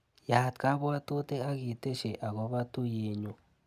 Yaat kabwatutik akitesyi akobo tuiyenyu.